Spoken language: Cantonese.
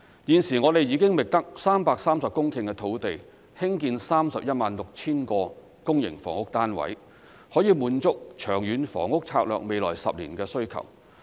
現時，我們已覓得330公頃土地興建 316,000 個公營房屋單位，可以滿足《長遠房屋策略》未來10年的需求。